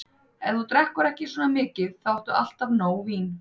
Ef þú drekkur ekki svona mikið, þá áttu alltaf nóg vín.